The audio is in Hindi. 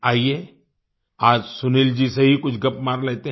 आईये आज सुनील जी से ही कुछ गप मार लेते हैं